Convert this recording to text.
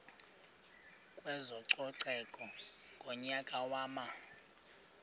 kwezococeko ngonyaka wama